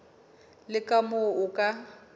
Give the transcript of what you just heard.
le ka moo o ka